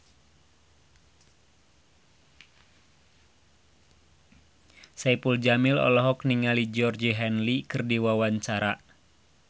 Saipul Jamil olohok ningali Georgie Henley keur diwawancara